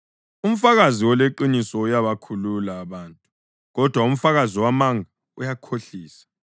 Umfakazi oleqiniso uyabakhulula abantu, kodwa umfakazi wamanga uyakhohlisa.